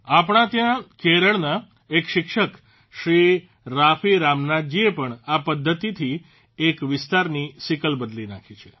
આપણે ત્યાં કેરળના એક શિક્ષક શ્રી રાફી રામનાથજીએ પણ આ પદ્ધતિથી એક વિસ્તારની સિકલ બદલી નાંખી છે